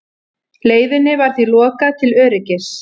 Leiðinni var því lokað til öryggis